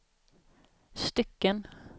stycken